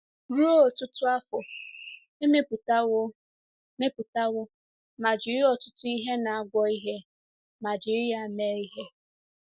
Ruo ọtụtụ afọ, e mepụtawo mepụtawo ma jiri ọtụtụ ihe na-agwọ ihe ma jiri ya mee ihe.